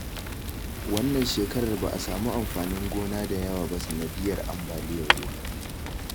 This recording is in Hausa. Wannan shekarar ba a samu amfanin gona da yawa ba sanadiyyar ambaliyar ruwa